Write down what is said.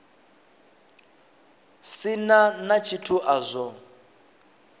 si na tshithu a zwo